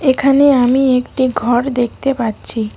এখানে আমি একটি ঘর দেখতে পাচ্ছি।